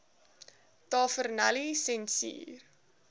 tavernelisensier